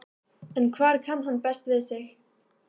En hvar kann hann best við sig?